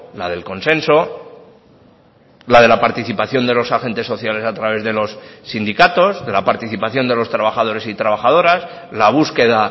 la del consenso la de la participación de los agentes sociales a través de los sindicatos de la participación de los trabajadores y trabajadoras la búsqueda